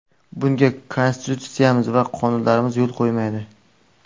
Bunga Konstitutsiyamiz va qonunlarimiz yo‘l qo‘ymaydi.